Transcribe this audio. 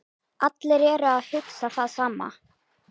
Allir eru að hugsa það sama